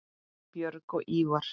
Björg og Ívar.